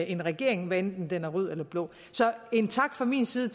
en regering hvad enten den er rød eller blå så en tak fra min side